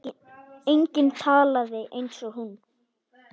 Enginn talaði eins og hún.